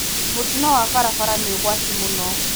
Mũtino wa barabara nĩũgwati mũno.